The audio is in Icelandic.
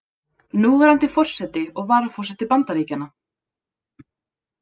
Núverandi forseti og varaforseti Bandaríkjanna.